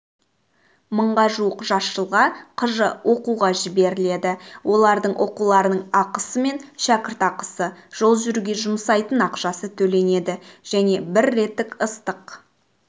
мыңға жуық жас жылға кж оқуға жіберіледі олардың оқуларының ақысы мен шәкіртақысы жол жүруге жұмсайтын ақшасы төленеді және бір реттік ыстық